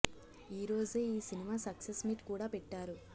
ఈ రోజే ఈ సినిమా సక్సెస్ మీట్ కూడా పెట్టారు